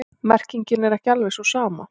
Merkingin er ekki alveg sú sama.